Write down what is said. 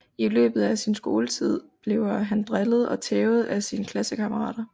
I løbet af sin skoletid bliver han drillet og tævet af sine klassekammerater